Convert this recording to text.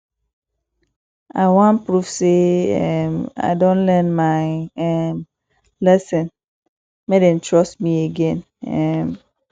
i wan prove sey um i don learn my um lesson make dem trust me again um